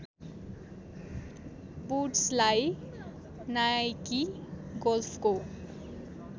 वुड्सलाई Nike गोल्फको